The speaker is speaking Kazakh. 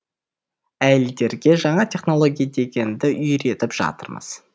әйелдерге жаңа технология дегенді үйретіп жатырмыз